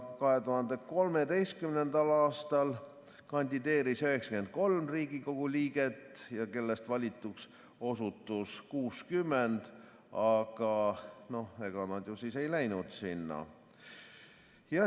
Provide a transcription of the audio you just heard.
2013. aastal kandideeris 93 Riigikogu liiget, kellest valituks osutus 60, aga ega nad ju siis ei läinud sinna.